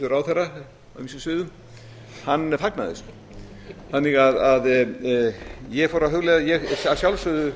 ráðherra á ýmsum sviðum fagnaði þannig að ég fór að hugleiða að ég leitaði að sjálfsögðu